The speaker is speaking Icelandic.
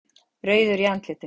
Rauður í andlitinu.